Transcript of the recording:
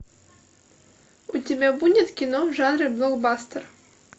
у тебя будет кино в жанре блокбастер